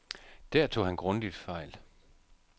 Der tog han grundigt fejl.